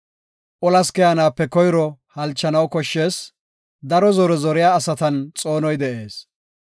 Olas keyanaape koyro halchanaw koshshees; daro zore zoriya asatan xoonoy bentees.